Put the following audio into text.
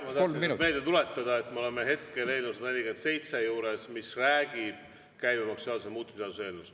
Ma tahan meelde tuletada, et me oleme hetkel eelnõu 147 juures, see on käibemaksuseaduse muutmise seaduse eelnõu.